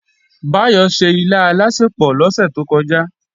Báyọ̀ se ilá alásèpò lọ́sẹ̀ tó kọjá